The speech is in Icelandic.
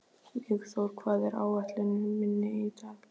Vígþór, hvað er á áætluninni minni í dag?